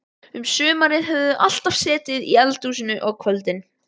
Um sumarið höfðu þau alltaf setið í eldhúsinu á kvöldin.